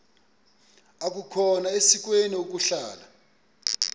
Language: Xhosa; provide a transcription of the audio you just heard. akukhona sikweni ukuhlala